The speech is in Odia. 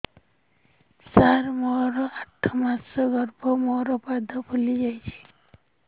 ସାର ମୋର ଆଠ ମାସ ଗର୍ଭ ମୋ ପାଦ ଫୁଲିଯାଉଛି